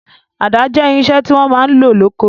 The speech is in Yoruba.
Àda jẹ́ irinṣẹ́ tí wọ́n máa ń lò lóko.